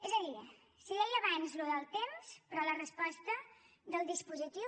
és a dir si deia abans allò del temps però la resposta del dispositiu